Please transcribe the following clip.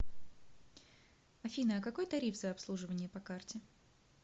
афина а какой тариф за обслуживание по карте